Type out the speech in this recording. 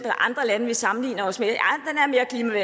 i andre lande vi sammenligner os med